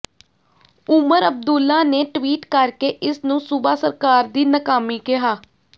ਉਮਰ ਅਬਦੁੱਲਾ ਨੇ ਟਵੀਟ ਕਰਕੇ ਇਸ ਨੂੰ ਸੂੁਬਾ ਸਰਕਾਰ ਦੀ ਨਾਕਾਮੀ ਕਿਹਾ